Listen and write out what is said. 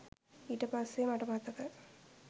ඊට පස්සේ මට මතක